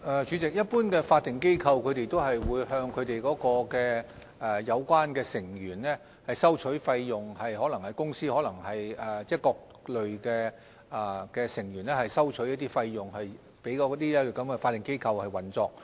主席，一般的法定機構都會向相關成員收取費用，可能是公司向各類成員收取費用給法定機構運作。